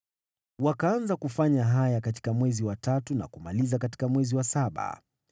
Wakaanza kufanya haya katika mwezi wa tatu na kumaliza katika mwezi wa saba.